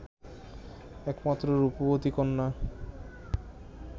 একমাত্র রূপবতী কন্যা